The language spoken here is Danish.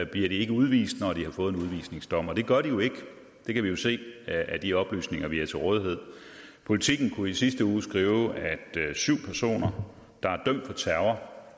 bliver de ikke udvist når de har fået en udvisningsdom det gør de jo ikke det kan vi se af de oplysninger vi har til rådighed politiken kunne i sidste uge skrive at syv personer der er dømt for terror